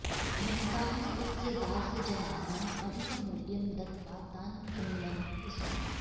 धनिकाः स्वस्य दासजनानाम् अधिकमूल्यं दत्त्वा तान् क्रीणन्ति स्म